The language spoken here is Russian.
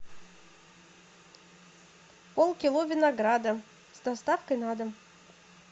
полкило винограда с доставкой на дом